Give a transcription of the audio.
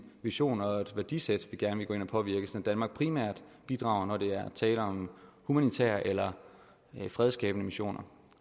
vision og et værdisæt vi gerne vil gå ind og påvirke sådan at danmark primært bidrager når der er tale om humanitære eller fredsskabende missioner